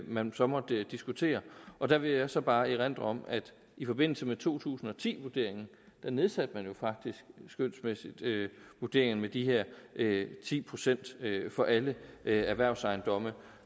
man så måtte diskutere der vil jeg så bare erindre om at i forbindelse med to tusind og ti vurderingen nedsatte man faktisk skønsmæssigt vurderingen med de her ti procent for alle erhvervsejendomme